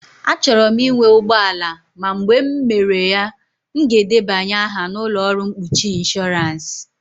Achọrọ m ịnwe ụgbọ ala ma mgbe m mere ya, m ga-edebanye aha na ụlọ ọrụ mkpuchi ịnshọransị.